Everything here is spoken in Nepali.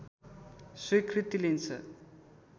स्वीकृति लिन्छ